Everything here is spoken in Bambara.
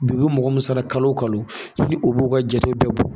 Bi u bɛ mɔgɔ min sara kalo kalo u ka jate bɛɛ bɔ.